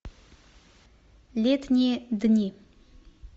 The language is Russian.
летние дни